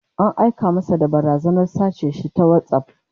An aika masa da barazanar sace shi ta WhatsApp